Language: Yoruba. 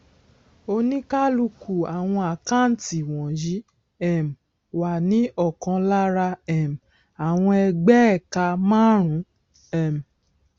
oníkálukú àwọn àkáǹtí wònyí um wà ní òkan lára um àwọn ẹgbéẹka márùnún um